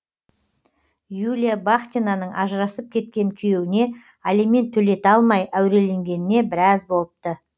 юлия бахтинаның ажырасып кеткен күйеуіне алимент төлете алмай әуреленгеніне біраз болыпты